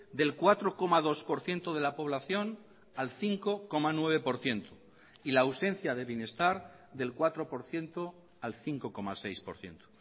del cuatro coma dos por ciento de la población al cinco coma nueve por ciento y la ausencia de bienestar del cuatro por ciento al cinco coma seis por ciento